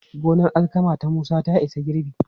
Gonar alkama ta Musa ta isa girbi.